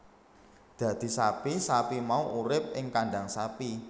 Dadi sapi sapi mau urip ing kandhang sapi